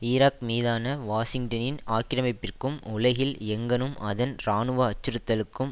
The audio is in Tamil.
ஈராக் மீதான வாஷிங்டனின் ஆக்கிரமிப்பிற்கும் உலகில் எங்கணும் அதன் இராணுவ அச்சுறுத்தலுக்கும்